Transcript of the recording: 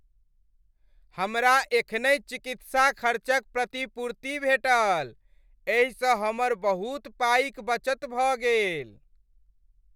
हमरा एखनहि चिकित्सा खर्चक प्रतिपूर्ति भेटल , एहिसँ हमर बहुत पाइक बचत भऽ गेल।